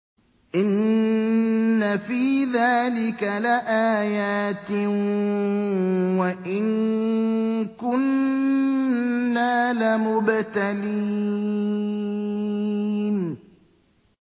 إِنَّ فِي ذَٰلِكَ لَآيَاتٍ وَإِن كُنَّا لَمُبْتَلِينَ